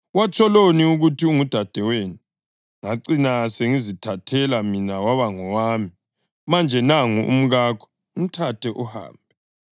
Watsholoni ukuthi ungudadewenu, ngacina sengizithathele mina waba ngowami? Manje, nangu umkakho. Mthathe uhambe!”